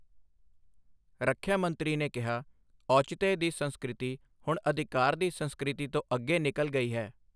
ਰਖਿਆ ਮੰਤਰੀ ਨੇ ਕਿਹਾ, ਔਚਿਤਯ ਦੀ ਸੰਸਕ੍ਰਿਤੀ ਹੁਣ ਅਧਿਕਾਰ ਦੀ ਸੰਸਕ੍ਰਿਤੀ ਤੋਂ ਅੱਗੇ ਨਿਕਲ ਗਈ ਹੈ